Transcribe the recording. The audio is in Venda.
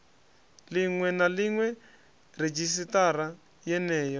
ḽiṅwe na ḽiṅwe redzhisiṱara yeneyo